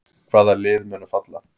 Hvaða lið munu falla?